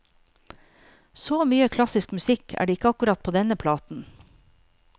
Så mye klassisk musikk er det ikke akkurat på denne platen.